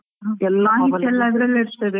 ಎಲ್ಮಾಹಿತಿ ಎಲ್ಲಾ ಅದ್ರಲ್ಲೇ ಇರ್ತದೆ.